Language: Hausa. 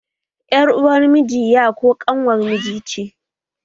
Yar uwar miji ya ko kanwar miji ce